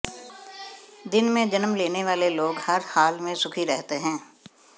दिन में जन्म लेने वाले लोग हर हाल में सुखी रहते हैं